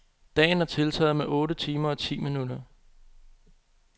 Dagen er tiltaget med otte timer og ti minutter.